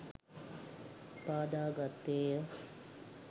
පාදා ගත්තේය.